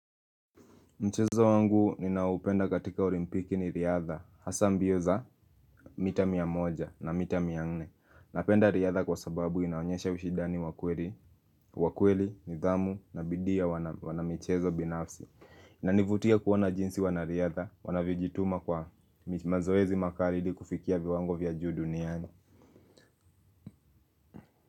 Mchezo wangu ninaopenda katika olimpiki ni riadha, hasa mbioza mita miamoja na mita mianne. Napenda riadha kwa sababu inaonyesha ushindani wakweli, nidhamu na bidiiya wana michezo binafsi. Inanivutia kuona jinsi wanariadha, wanavyojituma kwa mazoezi makali ili kufikia viwango vya juu duniani.